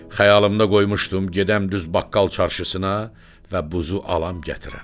Xəyalımda qoymuşdum gedəm düz baqqal çarşısına və buzu alam gətirəm.